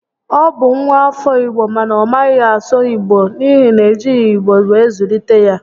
Ọ bụ nwa afọ Igbo mana ọ maghị asụ Igbo n'ihi na e jighi igbo were zụlite ya